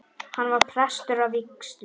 Hann var prestur að vígslu.